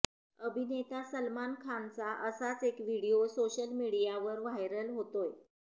अभिनेता सलमान खानचा असाच एक व्हिडिओ सोशल मीडियावर व्हायरल होतोय